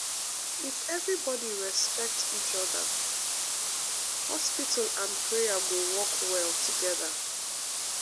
if everybody respect each other um hospital and prayer go work well together.